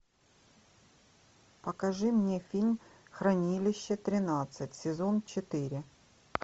покажи мне фильм хранилище тринадцать сезон четыре